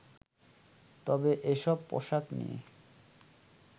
তবে এসব পোশাক নিয়ে